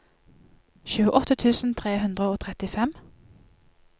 tjueåtte tusen tre hundre og trettifem